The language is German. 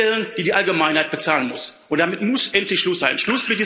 Stellen, die die Allgemeinheit bezahlen muss, und damit muss endlich Schluss sein!